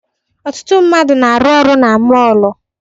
Ọtụtụ mmadụ na-arụ ọrụ na mọọlụ.